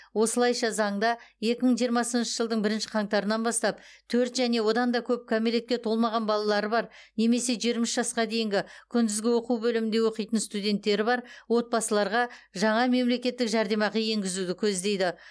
осылайша заңда екі мың жиырмасыншы жылдың бірінші қаңтарынан бастап төрт және одан да көп кәмелетке толмаған балалары бар немесе жиырма үш жасқа дейінгі күндізгі оқу бөлімінде оқитын студенттері бар отбасыларға жаңа мемлекеттік жәрдемақы енгізуді көздейді